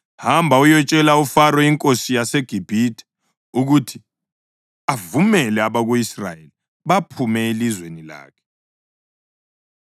“Hamba uyetshela uFaro inkosi yaseGibhithe ukuthi avumele abako-Israyeli baphume elizweni lakhe.”